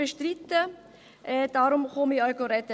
Deshalb spreche ich auch.